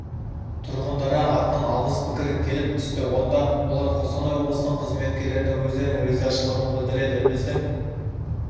тұрғындары атынан алғыс пікір келіп түсті онда олар қостанай облысының қызметкерлеріне өздерінің ризашылығын білдіреді біздің